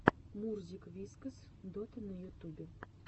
мурзик вискас дота на ютубе